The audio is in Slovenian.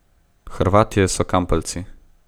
Hrvatje so kampeljci.